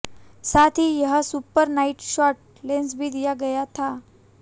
साथ ही यहां सुपर नाइट शॉट लेंस भी दिया गया है